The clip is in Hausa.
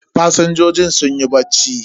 Fasinjojin sunyi bacci.